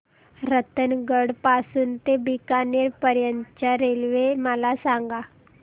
रतनगड पासून ते बीकानेर पर्यंत च्या रेल्वे मला सांगा